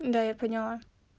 да я поняла